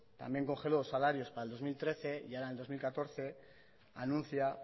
también congeló salarios para el dos mil trece y ahora en dos mil catorce anuncia